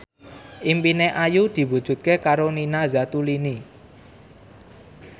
impine Ayu diwujudke karo Nina Zatulini